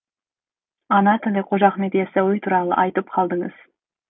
ана тілі қожа ахмет ясауи туралы айтып қалдыңыз